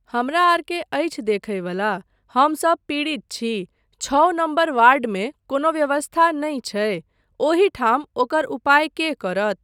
हमरा आर के अछि देखय बला, हमसब पीड़ित छी, छओ नम्बर वार्डमे कोनो व्यवस्था नहि छै, ओहि ठाम ओकर उपाय के करत।